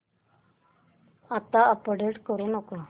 आता अपडेट करू नको